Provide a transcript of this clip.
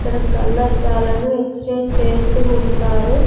ఇక్కడ కళ్ళద్దాలను ఎక్స్చేంజ్ చేస్తూ ఉంటారు.